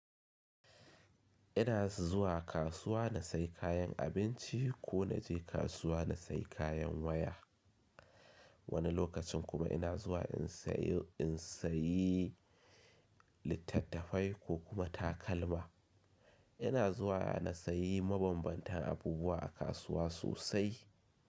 Ina zuwa kasuwa na sayi kayan abinci ko na je kasuwa na sayi kayan waya. Wani lokacin kuma ina zuwa in sayo, in sayi littattafai ko kuma takalma. Ina zuwa na sayi mabambantan abubuwa a kasuwa sosai.